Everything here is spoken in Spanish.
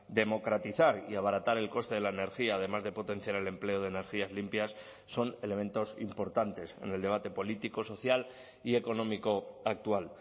democratizar y abaratar el coste de la energía además de potenciar el empleo de energías limpias son elementos importantes en el debate político social y económico actual